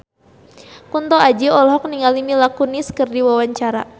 Kunto Aji olohok ningali Mila Kunis keur diwawancara